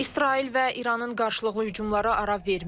İsrail və İranın qarşılıqlı hücumları ara vermir.